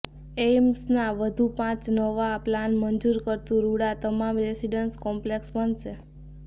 એઇમ્સના વધુ નવા પાંચ પ્લાન મંજુર કરતુ રૂડાઃ તમામ રેસીડન્સ કોમ્પલેક્ષ બનશે